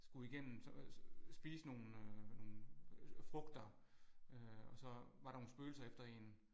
Skulle igennem spise nogle nogle frugter øh og så var der nogle spøgelser efter en